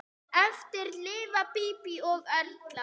Eftir lifa Bíbí og Erla.